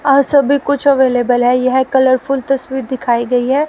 और सभी कुछ अवेलेबल है यह कलरफुल तस्वीर दिखाई गई है।